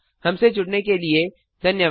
हमसे जुड़ने के लिए धन्यवाद